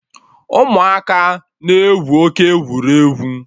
Ụmụaka na-egwu oke egwuregwu